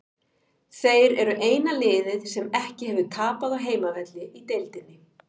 Þeir eru eina liðið sem ekki hefur tapað á heimavelli í deildinni.